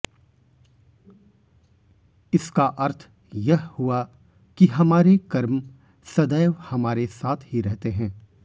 इसका अर्थ यह हुआ कि हमारे कर्म सदैव हमारे साथ ही रहते हैं